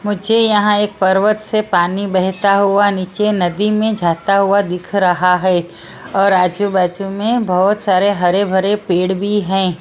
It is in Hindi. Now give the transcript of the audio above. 'मुझे यहां एक पर्वत से पानी बहता हुआ नीचे नदी में जाता हुआ दिख रहा है और आजू-बाजू में बहुत सारे हरे भरे पेड़ भी हैं।